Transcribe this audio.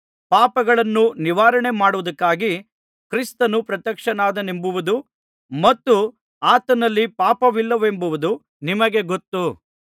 ಪಾಪಗಳನ್ನು ನಿವಾರಣೆ ಮಾಡುವುದಕ್ಕಾಗಿ ಕ್ರಿಸ್ತನು ಪ್ರತ್ಯಕ್ಷನಾದನೆಂಬುದು ಮತ್ತು ಆತನಲ್ಲಿ ಪಾಪವಿಲ್ಲವೆಂಬುದು ನಿಮಗೆ ಗೊತ್ತು